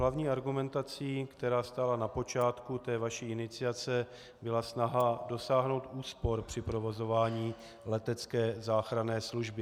Hlavní argumentací, která stála na počátku té vaší iniciace, byla snaha dosáhnout úspor při provozování letecké záchranné služby.